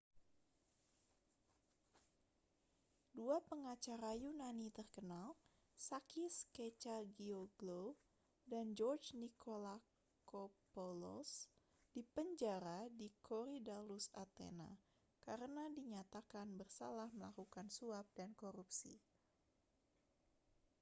dua pengacara yunani terkenal sakis kechagioglou dan george nikolakopoulos dipenjara di korydallus athena karena dinyatakan bersalah melakukan suap dan korupsi